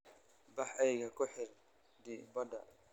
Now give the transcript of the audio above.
Bax eeyga ku xidh dibadda.